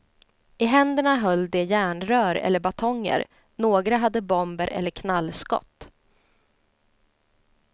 I händerna höll de järnrör eller batonger, några hade bomber eller knallskott.